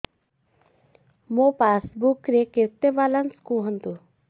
ମୋ ପାସବୁକ୍ ରେ କେତେ ବାଲାନ୍ସ କୁହନ୍ତୁ